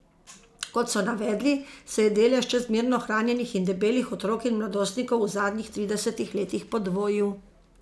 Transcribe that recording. Kot so navedli, se je delež čezmerno hranjenih in debelih otrok in mladostnikov v zadnjih tridesetih letih podvojil.